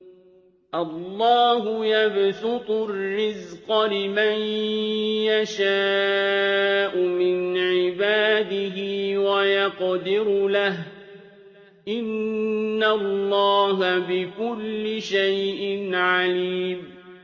اللَّهُ يَبْسُطُ الرِّزْقَ لِمَن يَشَاءُ مِنْ عِبَادِهِ وَيَقْدِرُ لَهُ ۚ إِنَّ اللَّهَ بِكُلِّ شَيْءٍ عَلِيمٌ